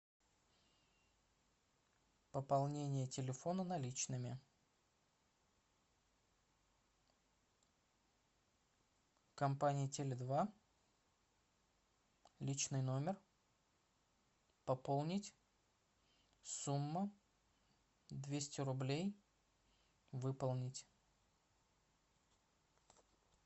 пополнение телефона наличными компания теле два личный номер пополнить сумму двести рублей выполнить